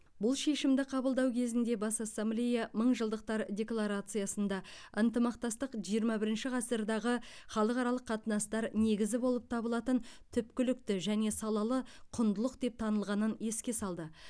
бұл шешімді қабылдау кезінде бас ассамблея мыңжылдықтар декларациясында ынтымақтастық жиырма бірінші ғасырдағы халықаралық қатынастар негізі болып табылатын түпкілікті және салалы құндылық деп танылғанын еске салды